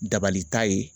Dabalita ye